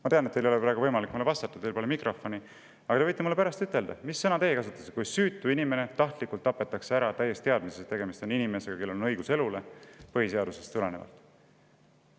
Ma tean, et teil ei ole praegu võimalik mulle vastata, teil pole mikrofoni, aga te võite mulle pärast ütelda, mis sõna teie kasutaksite, kui süütu inimene tahtlikult ära tapetakse, täies teadmises, et tegemist on inimesega, kellel on põhiseadusest tulenevalt õigus elule.